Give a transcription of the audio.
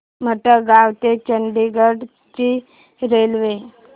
मडगाव ते चंडीगढ ची रेल्वे